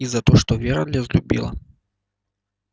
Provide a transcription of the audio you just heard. и за то что вера разлюбила